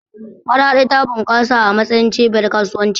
Maradi ta bunƙasa a matsayin cibiyar kasuwanci.